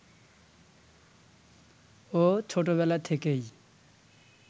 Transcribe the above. ও ছোটবেলা থেকেই